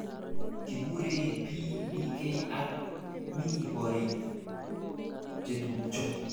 Kikure PDK ak mi korik chetupjo.